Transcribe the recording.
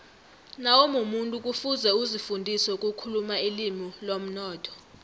nawumumuntu kufuze uzifundise ukukhuluma ilimi lomnotho